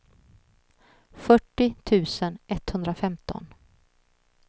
fyrtio tusen etthundrafemton